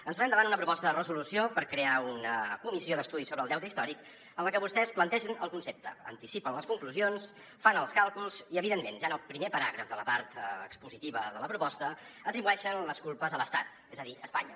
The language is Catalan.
ens trobem davant una proposta de resolució per crear una comissió d’estudi sobre el deute històric en la qual vostès plantegen el concepte anticipen les conclusions fan els càlculs i evidentment ja en el primer paràgraf de la part expositiva de la proposta atribueixen les culpes a l’estat és a dir a espanya